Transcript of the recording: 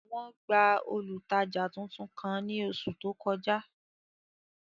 Wọn gba olutaja tuntun kan ni oṣu to kọja.